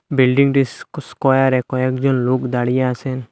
বিল্ডিংটির স্ক স্কোয়ারে কয়েকজন লোক দাঁড়িয়ে আসেন।